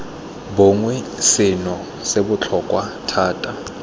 bongwe seno se botlhokwa thata